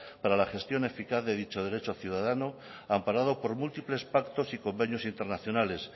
para la gestión eficaz de dicho derecho ciudadano amparado por múltiples pactos y convenios internacionales